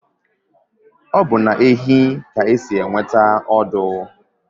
Obu na ehi ka esi enweta ọdụ